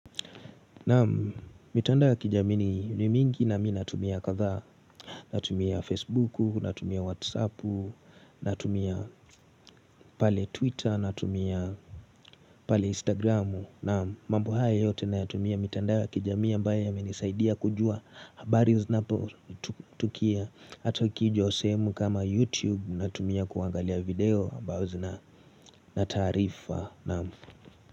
Naam, mitandao ya kijamii ni mingi nami natumia kadhaa Natumia facebooku, natumia whatsappu, natumia pale twitter, natumia pale instagramu Naam, mambo haya yote nayatumia mitandao ya kijami ambayo yamenisaidia kujua habari zinapo tukia Hata ukija sehemu kama youtube natumia kuangalia video ambazo zina na taarifa.